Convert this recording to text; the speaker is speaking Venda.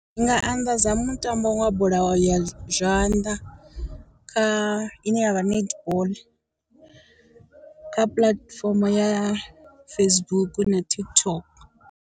Ndi nga anḓadza mutambo wa bola ya zwanḓa kha ine yavha netball kha puḽatifomo ya Facebook na TikTok.